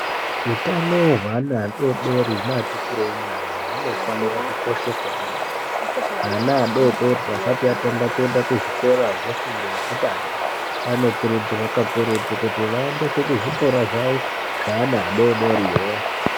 Utano hweana adodori neatikurei nyana hunofana kukosheswa kwemene ana adodori asati Tanga kuenda kuzvikora zvefundo yekutanga vanokurudzirwa kakurutu kuti vaende kuzvikora zvavo zvevana vadodoriwo.